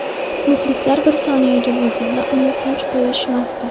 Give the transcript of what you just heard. Muxlislar bir soniyaga bo‘lsa-da uni tinch qo‘yishmasdi.